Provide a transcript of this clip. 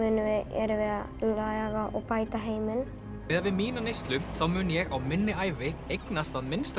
erum við að laga og bæta heiminn miðað við mína neyslu þá mun ég á minni ævi eignast að minnsta